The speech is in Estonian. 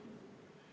Hea ettekandja!